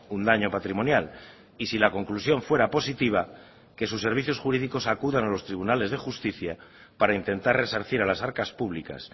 un daño patrimonial y si la conclusión fuera positiva que sus servicios jurídicos acudan a los tribunales de justicia para intentar resarcir a las arcas públicas